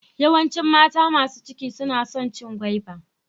Yawancin mata masu ciki suna son cin gwaiba.